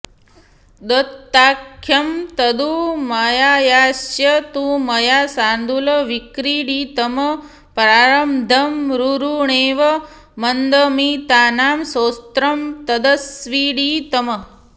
दत्ताख्यं तदु माययाऽस्य तु मया शार्दूलविक्रीडितम् प्रारब्धं रुरुणेव मन्दमतिना स्तोत्रं तदस्त्वीडितम्